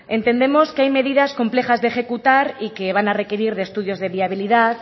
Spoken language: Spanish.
entendemos que hay medidas complejas de ejecutar y que van a requerir de estudios de viabilidad